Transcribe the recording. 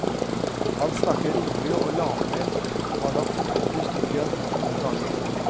Han snakker rolig og lavmælt, har nok fortalt historien noen ganger.